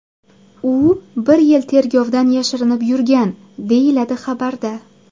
U bir yil tergovdan yashirinib yurgan”, deyiladi xabarda.